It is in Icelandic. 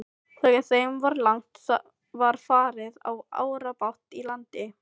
Þegar þeim var lagt var farið á árabát í land.